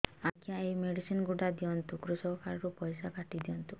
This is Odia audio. ଆଜ୍ଞା ଏ ମେଡିସିନ ଗୁଡା ଦିଅନ୍ତୁ କୃଷକ କାର୍ଡ ରୁ ପଇସା କାଟିଦିଅନ୍ତୁ